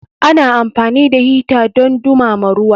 Ana amfani da hita don dumama ruwa.